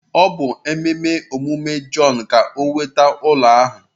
Ọ bụ ememe ọmụmụ Jọn ka o nweta ụlọ ahụ